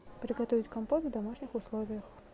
приготовить компот в домашних условиях